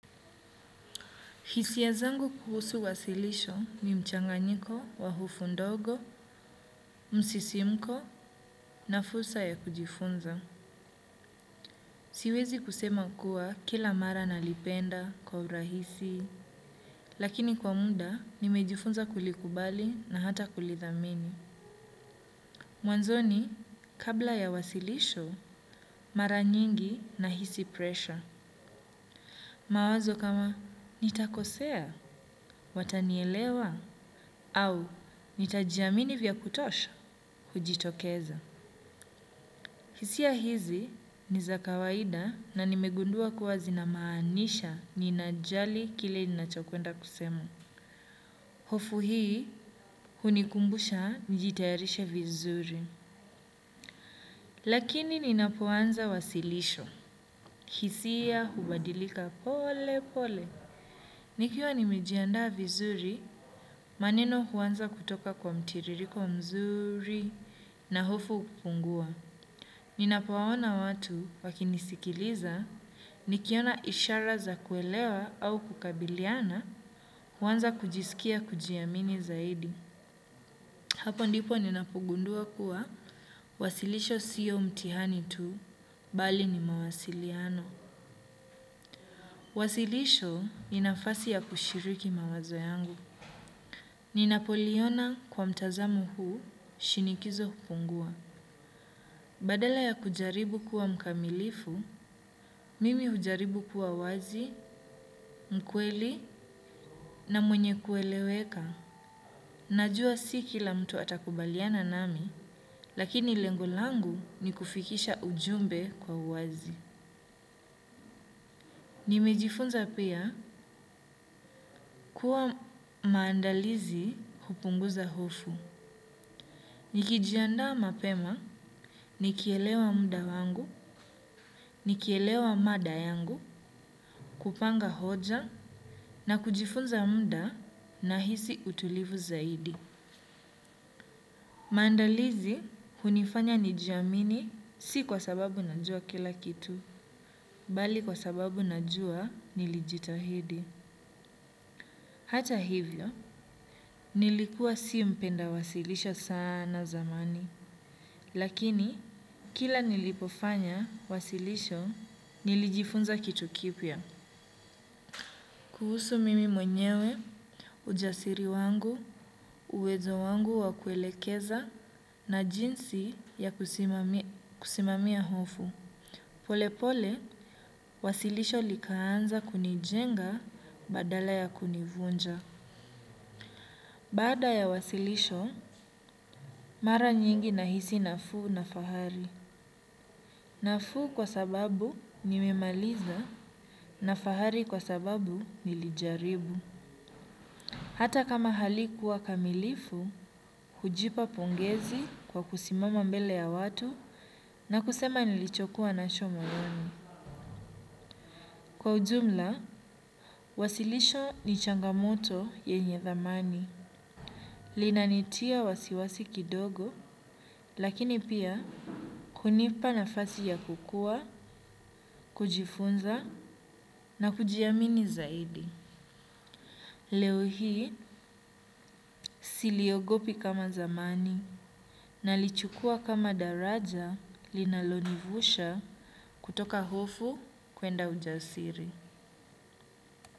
Hisia zangu kuhusu wasilisho ni mchanganyiko wa hufu ndogo, msisimko na fursa ya kujifunza. Siwezi kusema kuwa kila mara nalipenda kwa urahisi, lakini kwa muda nimejifunza kulikubali na hata kulithamini. Mwanzoni kabla ya wasilisho mara nyingi na hisi presha. Mawazo kama nitakosea watanielewa au nitajiamini vya kutosha hujitokeza. Hisia hizi ni za kawaida na nimegundua kuwa zinamaanisha ninajali kile ninachokwenda kusema. Hofu hii hunikumbusha nijitayarishe vizuri. Lakini ninapoanza wasilisho. Kihisia hubadilika pole pole. Nikiwa nimejiandaa vizuri, maneno huanza kutoka kwa mtiririko mzuri na hofu hupungua. Ninapowaona watu wakinisikiliza, nikiona ishara za kuelewa au kukabiliana, huanza kujisikia kujiamini zaidi. Hapo ndipo ninapogundua kuwa, wasilisho sio mtihani tu, bali ni mawasiliano. Wasilisho ni nafasi ya kushiriki mawazo yangu. Ninapoliona kwa mtazamo huu, shinikizo hupungua. Badala ya kujaribu kuwa mkamilifu, mimi hujaribu kuwa wazi, mkweli na mwenye kueleweka. Najua si kila mtu atakubaliana nami, lakini lengo langu ni kufikisha ujumbe kwa uwazi. Nimejifunza pia kuwa maandalizi hupunguza hofu. Nikijiandaa mapema, nikielewa mda wangu, nikielewa mada yangu, kupanga hoja na kujifunza muda nahisi utulivu zaidi. Maandalizi, hunifanya nijiamini si kwa sababu najua kila kitu, bali kwa sababu najua nilijitahidi. Hata hivyo, nilikuwa si mpenda wasilisho sana zamani. Lakini, kila nilipofanya wasilisho, nilijifunza kitu kipya. Kuhusu mimi mwenyewe, ujasiri wangu, uwezo wangu wa kuelekeza, na jinsi ya kusimamia hofu. Polepole, wasilisho likaanza kunijenga badala ya kunivunja. Bada ya wasilisho, mara nyingi nahisi nafuu na fahari. Nafuu kwa sababu nimemaliza na fahari kwa sababu nilijaribu. Hata kama halikuwa kamilifu, hujipa pongezi kwa kusimama mbele ya watu na kusema nilichokuwa nacho moyoni. Kwa ujumla, wasilisho ni changamoto yenye dhamani. Linanitia wasiwasi kidogo lakini pia kunipa nafasi ya kukua, kujifunza na kujiamini zaidi. Leo hii siliogopi kama zamani nalichukua kama daraja linalonivusha kutoka hofu kwenda ujasiri.